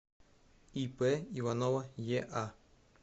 ип иванова еа